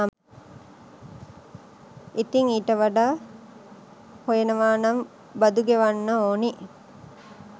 ඉතින් ඊට වඩා හොයනවනම් බදු ගෙවන්න ඕනි.